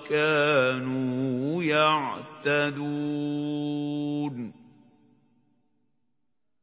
وَّكَانُوا يَعْتَدُونَ